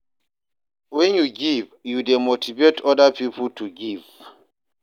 Wen yu give, yu dey motivate oda pipo to give.